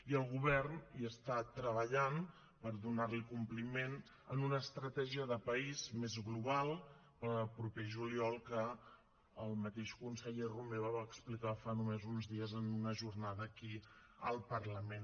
i el govern hi està treballant per donar hi compliment en una estratègia de país més global per al proper juliol que el mateix conseller romeva va explicar fa només uns dies en una jornada aquí al parlament